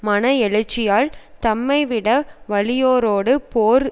மன எழுச்சியால் தம்மைவிட வலியாரோடு போர்